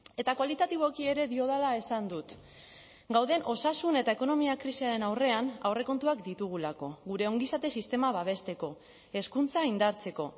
eta kualitatiboki ere diodala esan dut gauden osasun eta ekonomia krisiaren aurrean aurrekontuak ditugulako gure ongizate sistema babesteko hezkuntza indartzeko